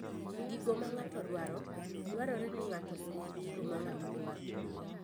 Gigo ma ng'ato dwaro: Dwarore ni ng'ato ong'e gigo ma ng'ato dwaro.